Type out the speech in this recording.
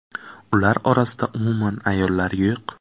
Ular orasida umuman ayollar yo‘q.